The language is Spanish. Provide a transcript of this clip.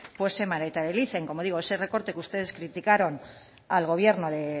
se materialice como digo ese recorte que ustedes criticaron al gobierno de